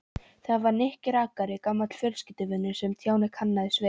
Það var Nikki rakari, gamall fjölskylduvinur, sem Stjáni kannaðist við.